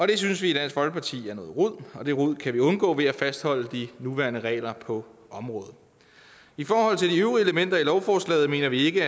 det synes vi i dansk folkeparti er noget rod og det rod kan vi undgå ved at fastholde de nuværende regler på området i forhold til de øvrige elementer i lovforslaget mener vi ikke